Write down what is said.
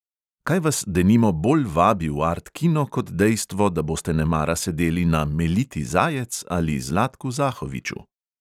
Kaj vas denimo bolj vabi v art kino kot dejstvo, da boste nemara sedeli na meliti zajec ali zlatku zahoviču.